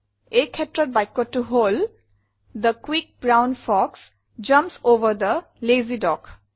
এই ক্ষেত্ৰত বাক্যটো হল the quick brown fox jumps over the lazy dog